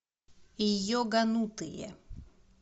йоганутые